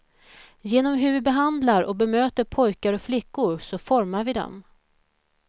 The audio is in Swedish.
Genom hur vi behandlar och bemöter pojkar och flickor så formar vi dem.